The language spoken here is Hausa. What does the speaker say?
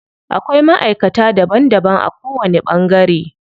Akwai maʼaikata daban daban a ko wani ɓangare.